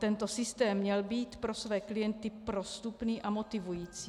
Tento systém měl být pro své klienty prostupný a motivující.